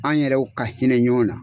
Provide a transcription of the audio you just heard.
An yɛrɛw ka hinɛ ɲɔn na.